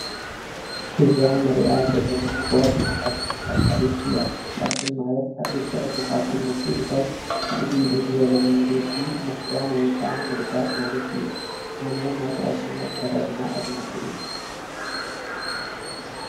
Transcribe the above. እዛ እንሪኣ ዘለና ጓል ናይ ፋሽን ተከታሊት እያ:: ፋሽን ማለት ሓደሽቲ ቅዲታት ብምትእትታው ፍልይ ብዝበለ መንገዲ ምክዳን ወይ ከዓ ምርጋፅ ማለት እዩ ::ኣነ ናይ ፋሽን ኣከዳድና ኣድናቂ እየ ::